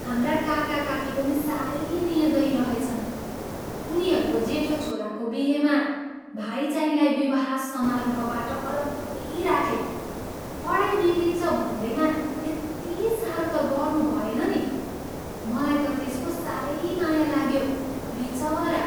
हाम्रा काकाकाकी पनि साह्रै निर्दयी रहेछन्। उनीहरूको जेठो छोराको बिहेमा भाइचाहिँलाई विवाह समारोहबाट अलग्गै राखे। पढाई बिग्रिन्छ भन्दैमा यति साह्रो त गर्नुभएन नि! मलाई त त्यसको साह्रै माया लाग्यो। बिचरा!